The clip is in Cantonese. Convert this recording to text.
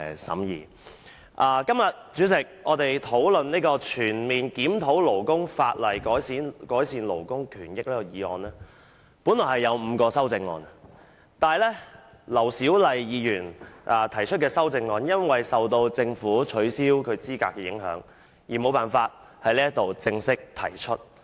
主席，今天我們討論"全面檢討勞工法例，改善勞工權益"的議案，議案本來有5項修正案，但是，對於劉小麗議員提出的修正案，由於政府取消她的議員資格，因而無法在議會正式提出。